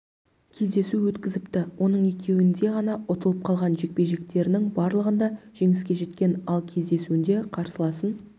кездесу өткізіпті оның екеуінде ғана ұтылып қалған жекпе-жектерінің барлығында жеңіске жеткен ал кездесуінде қарсыласын